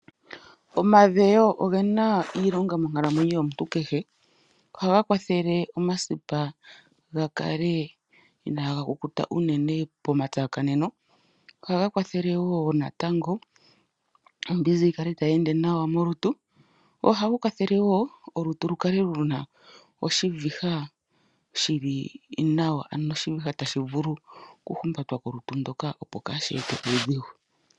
Omadhewo oge na iilonga monkalamwenyo yomuntu kehe. Ohaga kwathele omasipa ga kale inaaga kukuta unene pomatsakaneno. Ohaga kwathele wo natango ombizi yi kale tayi molutu. Ohaga kwathele wo olutu lukale lu na oshiviha shi li nawa, ano oshiviha tashi vulu okuhumbatwa kolutu ndoka, opo kaashi ete uudhigu.